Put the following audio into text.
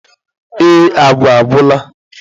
Ee agwa agwụla.